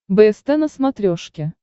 бст на смотрешке